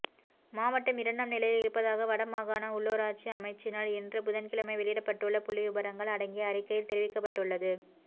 மாவட்டம் இரண்டாம் நிலையில் இருப்பதாக வடமாகாண உள்ளூராட்சி அமைச்சினால் இன்று புதன்கிழமை வெளியிடப்பட்டுள்ள புள்ளிவிபரங்கள் அடங்கிய அறிக்கையில் தெரிவிக்கப்பட்டுள்ளது